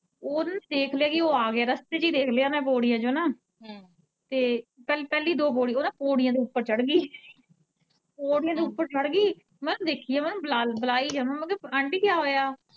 ਓਹ ਨਾ ਦੇਖ ਲਿਆ, ਓਹ ਆਗਿਆ ਰਸਤੇ ਚ ਹੀ ਦੇਖ ਲਿਆ ਓਨੇ ਪੋੜੀਆ ਚੋਂ ਤੇ ਪਹਿਲੀ ਦੋ ਪੋੜੀਆ, ਓਹ ਨਾ ਪੋੜੀਆ ਦੇ ਓੱਪਰ ਚੜਗੀ , ਪੋੜੀਆ ਦੇ ਓੱਪਰ ਚੜਗੀ ਮੈਂ ਦੇਖੀ ਜਾਵਾਂ ਬਲਾਈ ਜਾਵਾਂ ਆਂਟੀ ਕਿਆਂ ਹੋਇਆ।